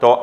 to?